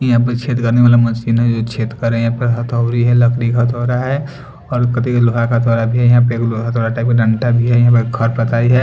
यहाँ पर छेद करने वाला मशीन है जो छेद कर रही है यहाँ पे हथौड़ी है लकड़ी का हथौड़ा है और लोहा का हथौड़ा भी है यहाँ पे एक लोहा हथौड़ा टाइप का डंडा भी है भी है --